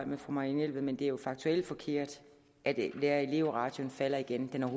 med fru marianne jelved men det er jo faktuelt forkert at lærerelev ratioen falder igen den er